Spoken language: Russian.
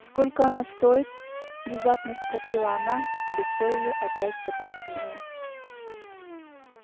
сколько она стоит внезапно спросила она и лицо её опять потускнело